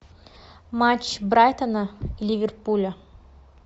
матч брайтона ливерпуля